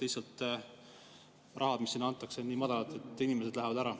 Lihtsalt raha, mis siin antakse, on nii väike, et inimesed lähevad ära.